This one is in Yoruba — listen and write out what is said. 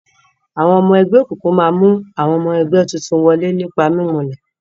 Àwọn ọmọ ẹgbẹ́ òkùnkùn máa mú àwọn ọmọ ẹgbẹ́ tuntun wọlé nípa mimulẹ̀.